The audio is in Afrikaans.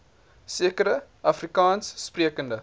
sekere afrikaans sprekende